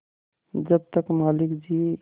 जब तक मालिक जिये